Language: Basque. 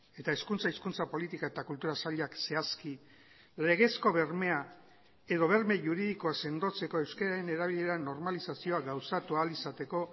eta hezkuntza hizkuntza politika eta kultura sailak zehazki legezko bermea edo berme juridikoa sendotzeko euskararen erabilera normalizazioa gauzatu ahal izateko